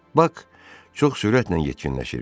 Pak çox sürətlə yetkinləşirdi.